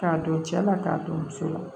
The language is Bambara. K'a don cɛ la k'a don muso la